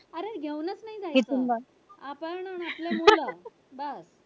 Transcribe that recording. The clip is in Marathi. अरे घेऊनच नाय जायचं आपण आपले मुलं बस